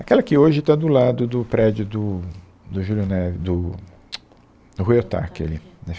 Aquela que hoje está do lado do prédio do do Júlio Neve, do... do Ruy Ohtake ali.